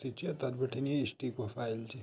सिच य तख बिटिन ये स्टिको फाइल च।